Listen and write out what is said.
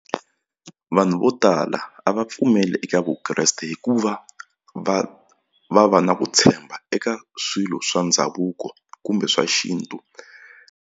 Vanhu vo tala a va pfumeli eka Vukreste hikuva va va va na ku tshemba eka swilo swa ndhavuko kumbe swa xintu.